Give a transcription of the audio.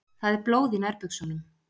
Það er blóð í nærbuxunum.